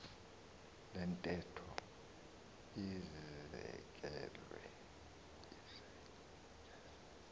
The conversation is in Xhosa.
le ntetho izekelwe